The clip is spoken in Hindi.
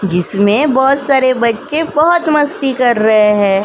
जिसमें बहोत सारे बच्चे बहोत मस्ती कर रहे हैं।